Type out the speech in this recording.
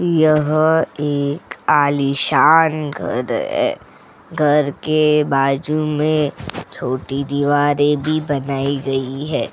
यह एक आलीशान घर है घर के बाजू में छोटी दीवारें भी बनाई गई हैं।